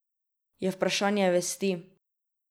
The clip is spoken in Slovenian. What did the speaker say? Je vprašanje vesti.